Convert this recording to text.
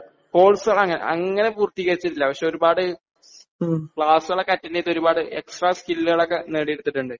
course അങ്ങനെ പൂർത്തീകരിച്ചിട്ടില്ല പക്ഷേ ഒരു പാട് ക്ലാസ്സുകളൊക്കെ അറ്റെൻഡ് ചെയ്തു എക്സ്ട്രാ സ്കില്ല്കളൊക്കെ നേടിയെടുത്തിട്ടുണ്ട്